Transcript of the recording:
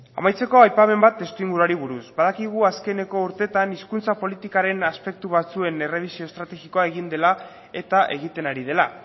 amaitzeko aipamen bat testuinguruari buruz badakigu azkeneko urteetan hizkuntza politikaren aspektu batzuen errebisio estrategikoa egin dela eta egiten ari dela